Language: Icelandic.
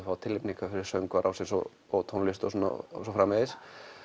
fá tilnefningar fyrir söngvara ársins og og tónlist og svo framvegis